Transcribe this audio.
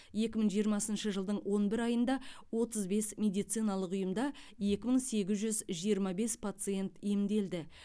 екі мың жиырмасыншы жылдың он бір айында отыз бес медициналық ұйымда екі мың сегіз жүз жиырма бес пациент емделді